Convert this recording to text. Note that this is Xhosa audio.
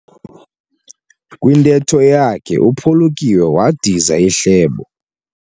Kwintetho yakhe uphulukiwe wadiza ihlebo.